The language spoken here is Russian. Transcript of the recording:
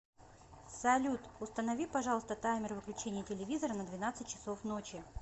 салют установи пожалуйста таймер выключения телевизора на двенадцать часов ночи